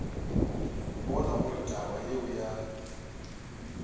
bona gore taba yeo ya